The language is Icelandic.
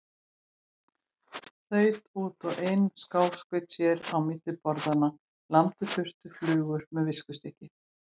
Þaut út og inn, skáskaut sér á milli borðanna, lamdi burt flugur með viskustykki.